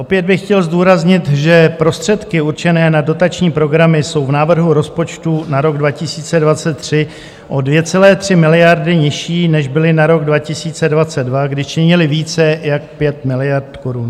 Opět bych chtěl zdůraznit, že prostředky určené na dotační programy jsou v návrhu rozpočtu na rok 2023 o 2,3 miliardy nižší, než byly na rok 2022, kdy činily více jak 5 miliard korun.